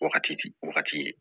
Wagati wagati ye